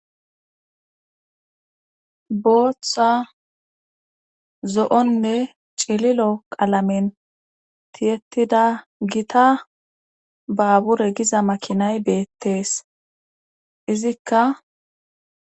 booththa zo7onne cililo qalamen tiyettida gita baabure giza makinay beettees izikka